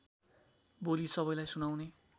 बोली सबैलाई सुनाउने